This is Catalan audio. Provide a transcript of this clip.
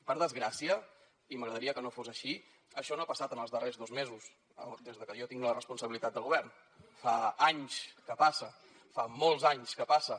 per desgràcia i m’agradaria que no fos així això no ha passat en els darrers dos mesos des de que jo tinc la responsabilitat de govern fa anys que passa fa molts anys que passa